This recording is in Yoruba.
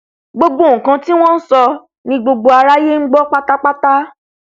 gbogbo nkan tí wọn nsọ ni gbogbo aráyé ngbọ pátápátá